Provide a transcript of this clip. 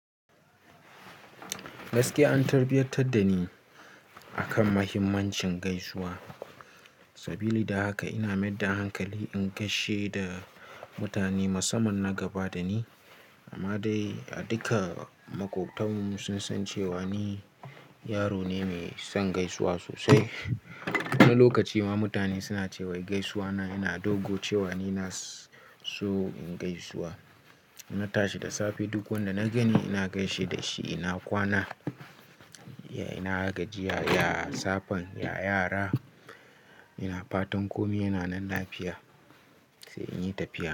Gaskiya an tarbiyantar da ni akan mahimmancin gaisuwa. Sabili da haka ina maida hankali in gaishe da mutane musamman na gaba da ni. Amma dai a duka makobtanmu sun san cewa ni yaro ne mai son gaisuwa sosai. Wani lokaci ma mutane suna cewa gaisuwa na yana dogo cewa ni na so in gaisuwa. Na tashi da safe duk wanda na gani ina gaishe da shi, ina kwana, ya ina ga jiya, ya safan, ya yara, ina fatan komai yana nan lafiya, sai in yi tafiya.